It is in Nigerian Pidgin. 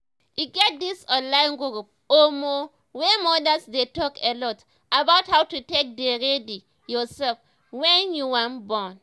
e get this online group omo wey modas dey talk alot about how to take dey ready yourself wen you wan born